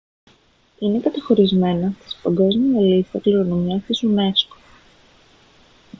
είναι καταχωρισμένα στην παγκόσμια λίστα κληρονομιάς της unesco